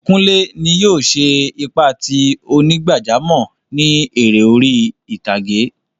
Kùnlẹ́ ní yóò ṣè ipa tí onígbàjàmọ̀ ni èrè orí ìtàgẹ̀.